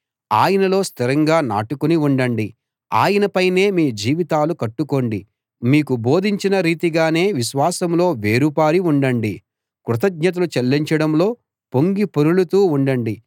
ఆయనలో స్థిరంగా నాటుకుని ఉండండి ఆయన పైనే మీ జీవితాలు కట్టుకోండి మీకు బోధించిన రీతిగానే విశ్వాసంలో వేరు పారి ఉండండి కృతజ్ఞతలు చెల్లించడంలో పొంగిపొరలుతూ ఉండండి